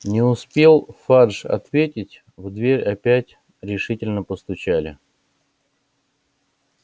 не успел фадж ответить в дверь опять решительно постучали